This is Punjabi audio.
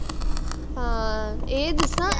ਹਾਂ ਇਹ ਦੱਸਾਂ